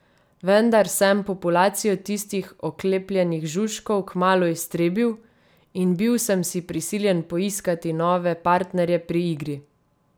Vendar sem populacijo tistih oklepljenih žužkov kmalu iztrebil, in bil sem si prisiljen poiskati nove partnerje pri igri.